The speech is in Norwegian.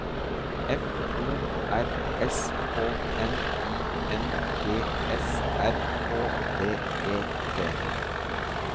F O R S K N I N G S R Å D E T